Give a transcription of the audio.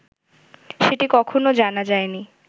সেটি কখনও জানা যায়নি